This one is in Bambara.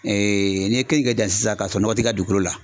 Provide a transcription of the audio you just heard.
n'i ye keninke dan sisan k'a sɔrɔ nɔgɔ tɛ i ka dugukolo la.